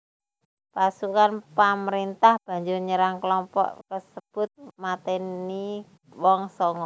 Pasukan pamréntah banjur nyerang klompok kasebut matèni wong sanga